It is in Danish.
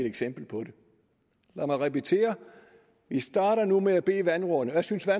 eksempel på det lad mig repetere vi starter nu med at bede vandrådene jeg synes at